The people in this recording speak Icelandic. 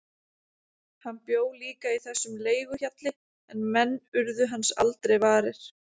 Hann bjó líka í þessum leiguhjalli en menn urðu hans aldrei varir.